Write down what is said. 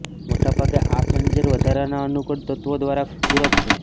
મોટેભાગે આ ફર્નિચર વધારાના અનુકૂળ તત્વો દ્વારા પૂરક છે